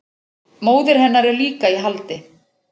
Móðir hennar er líka í haldi